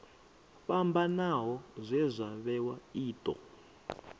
fhambanaho zwe zwa vhewa io